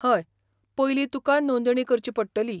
हय, पयलीं तुका नोंदणी करची पडटली.